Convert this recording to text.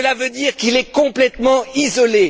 Cela veut dire qu'il est complètement isolé.